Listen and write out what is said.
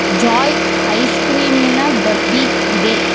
Joy ice cream ನಿನ ಡಬ್ಬಿ ಇದೆ.